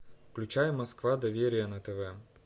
включай москва доверие на тв